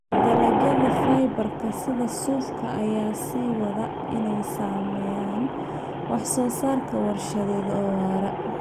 Dalagyada fiber-ka sida suufka ayaa sii wada inay sameeyaan wax soo saar warshadeed oo waara.